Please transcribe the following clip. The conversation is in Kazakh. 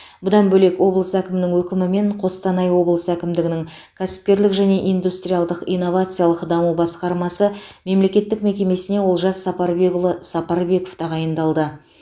бұдан бөлек облыс әкімінің өкімімен қостанай облысы әкімдігінің кәсіпкерлік және индустриалдық инновациялық даму басқармасы мемлекеттік мекемесіне олжас сапарбекұлы сапарбеков тағайындалды